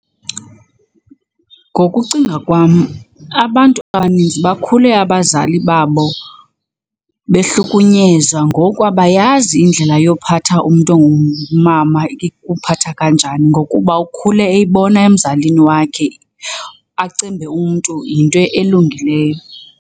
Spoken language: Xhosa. Ngokucinga kwam abantu abaninzi bakhule abazali babo behlukunyezwa ngoku abayazi indlela yophatha umntu ongumama uphatha kanjani, ngokuba ukhule eyibona emzalini wakhe, acimbe umntu yinto elungileyo.